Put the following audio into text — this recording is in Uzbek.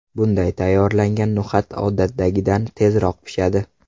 Bunday tayyorlangan no‘xat odatdagidan tezroq pishadi.